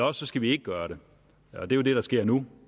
og så skal vi ikke gøre det og det er det der sker nu